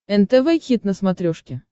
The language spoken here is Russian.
нтв хит на смотрешке